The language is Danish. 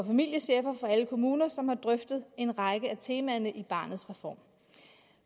familiechefer i alle kommuner som har drøftet en række af temaerne i barnets reform